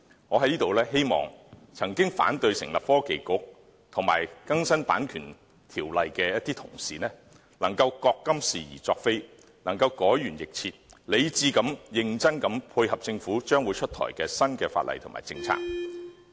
我在這裏希望曾經反對成立創新及科技局及更新《版權條例》的同事能夠覺今是而昨非，改弦易轍，理智和認真地配合政府將會出台的新法例和政策。